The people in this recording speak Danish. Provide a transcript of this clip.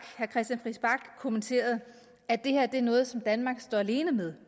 kommenterede at det her er noget som danmark står alene med